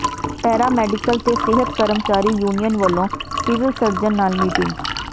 ਪੈਰਾ medical ਤੇ ਸਿਹਤ ਕਰਮਚਾਰੀ ਯੂਨੀਅਨ ਵਲੋਂ ਸਿਵਲ ਸਰਜਨ ਨਾਲ ਮੀਟਿੰਗ